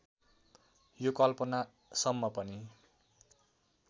यो कल्पना सम्म पनि